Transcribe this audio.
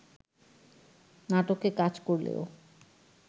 নাটকে কাজ করলেও